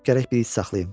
Gərək bir it saxlayım.